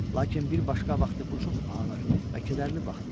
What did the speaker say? Lakin bir başqa vaxtı bu çox ağır və kədərli vaxt idi.